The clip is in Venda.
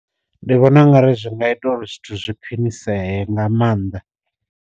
Ndi vhona ungari zwi nga ita uri zwithu zwi khwiniseye nga maanḓa.